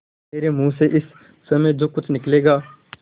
मेरे मुँह से इस समय जो कुछ निकलेगा